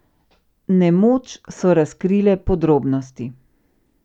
Nemoč so razkrile podrobnosti.